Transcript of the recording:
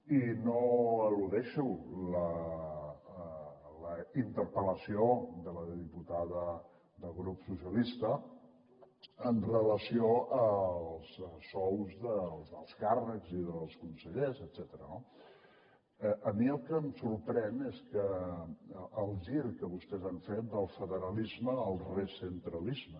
i no eludeixo la interpel·lació de la diputada del grup socialista en relació amb els sous dels alts càrrecs i dels consellers etcètera no a mi el que em sorprèn és el gir que vostès han fet del federalisme al recentralisme